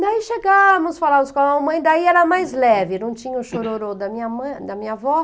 Daí chegávamos, falávamos com a mamãe, daí era mais leve, não tinha o chororô da minha mãe, da minha avó.